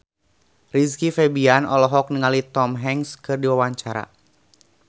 Rizky Febian olohok ningali Tom Hanks keur diwawancara